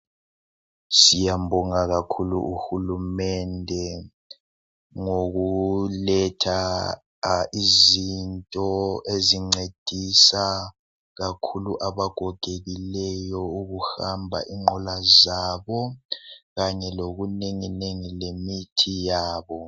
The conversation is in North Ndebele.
Siyambonga kakhulu uhulumende ngokuletha izinto ezincedisa kakhulu abagogekileyo ukuhamba inqola zabo kanye lokunenginengi lemithi yabo.